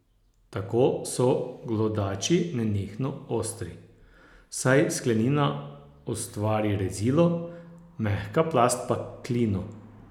Tako so glodači nenehno ostri, saj sklenina ustvari rezilo, mehka plast pa klino.